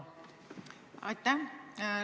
Aitäh!